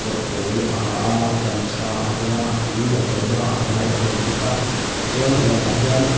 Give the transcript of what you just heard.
a pawl a ha ah gamchha a veng ah a a lu a tuam ah a hmai a tuam bawk a tichuan huan ah hian--